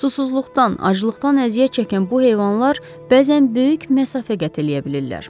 Susuzluqdan, aclıqdan əziyyət çəkən bu heyvanlar bəzən böyük məsafə qət edə bilirlər.